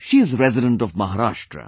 She is a resident of Maharashtra